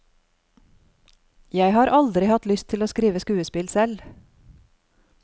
Jeg har aldri hatt lyst til å skrive skuespill selv.